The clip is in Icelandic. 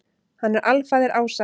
Hann er alfaðir ása.